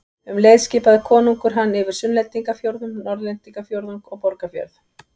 Um leið skipaði konungur hann yfir Sunnlendingafjórðung, Norðlendingafjórðung og Borgarfjörð.